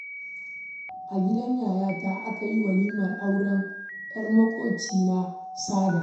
A gidan yayata aka yi walimar auren 'yar maƙwabcina Sada